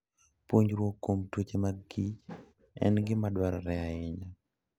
Puonjruok kuom tuoche mag kich en gima dwarore ahinya.